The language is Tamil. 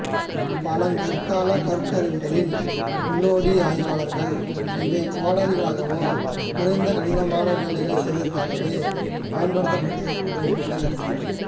பழங்கற்காலக் கற்கருவிகளின் முன்னோடி ஆய்வாளர்கள் இவை கோடரிகளாகவோ குறைந்தது கடினமான வேலைகளைச் செய்வதற்காகவோ பயன்பட்டிருக்கக்கூடும் எனக் கருதினர்